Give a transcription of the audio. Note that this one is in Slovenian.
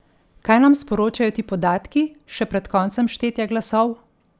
Kaj nam sporočajo ti podatki, še pred koncem štetja glasov?